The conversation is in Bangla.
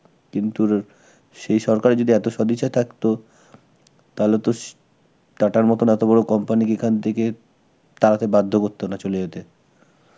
কিন্তু র~ সেই সরকারের যদি এত সদিচ্ছা থাকত তাহলে তো সে~ TATA র মতন এত বড় company কে এখান থেকে তাড়াতে বাধ্য করত না, চলে যেতে.